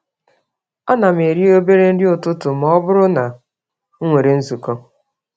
Ánám eri obere nri n'ụtụtụ mọbụrụ na m nwèrè nzukọ